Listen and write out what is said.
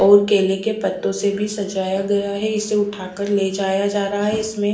और केलों के पत्तों से भी सजाया गया है इसे उठाकर ले जाया जा रहा है और इसमें--